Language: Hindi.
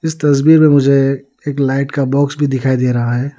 तस्वीर में मुझे एक लाइट का बॉक्स भी दिखाई दे रहा है।